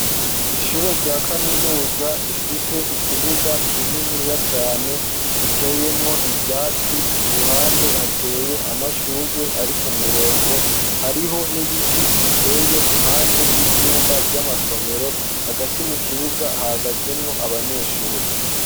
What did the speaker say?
Ishure rya kaminuza rifise ikibuga kininiya cane giteyemwo ivyatsi ruhande hateye amashurgwe ari k'umurongo hariho n'ibiti biteye impande y'ivyumba by'amasomero hagati mu kibuga hagazemwo abanyeshuri.